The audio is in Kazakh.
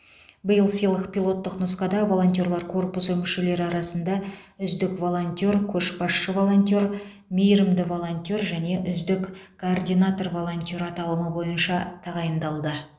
биыл сыйлық пилоттық нұсқада волонтерлар корпусы мүшелері арасында үздік волонтер көшбасшы волонтер мейірімді волонтер және үздік координатор волонтер аталымы бойынша тағайындалды